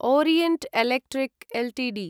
Orient Electric Ltd